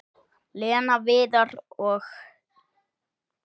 Lena, Viðar og